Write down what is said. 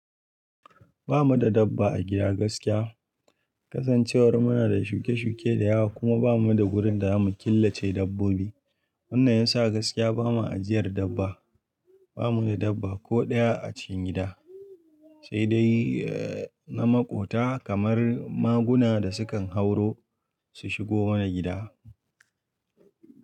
Ba mu da dabba a gida gaskiya. Kasancewar muna da shuke shuke da yawa kuma ba mu da wurin da za mu killace dabbobi. Wannan ya sa gaskiya ba mu ajiyar dabba. Ba mu da dabba ko ɗaya a cikin gida, sai dai, eh na maƙota kamar maguna da sukan hauro su shigo mana gida.